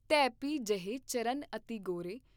ਤੈ ਭੀ ਜਹੈਂ ਚਰਨ ਅਤਿ ਗੌਰੇ।